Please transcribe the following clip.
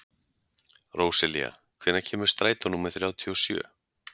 Róselía, hvenær kemur strætó númer þrjátíu og sjö?